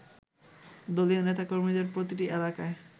দলীয় নেতাকর্মীদের প্রতিটি এলাকায়